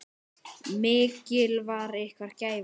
Mikil var ykkar gæfa.